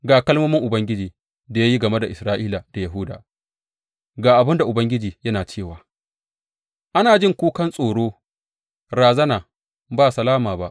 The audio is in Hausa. Ga kalmomin Ubangiji da ya yi game da Isra’ila da Yahuda, Ga abin da Ubangiji yana cewa, Ana jin kukan tsoro, razana, ba salama ba.